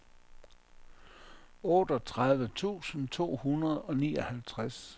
otteogtredive tusind to hundrede og nioghalvtreds